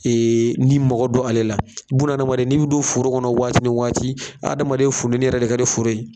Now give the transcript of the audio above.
ni mɔgɔ bɛ don ale la, n'i ma bɛ don foro kɔnɔ waati ni waati ,bun adamaden funtɛni yɛrɛ de ka di foro ye.